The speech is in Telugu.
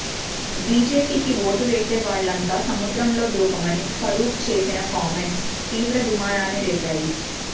బీజేపీ కి ఓటు వేసే వాళ్లంతా సముద్రంలో దూకమని ఫరూక్ చేసిన కామెంట్స్ తీవ్ర దుమారాన్ని రేపాయి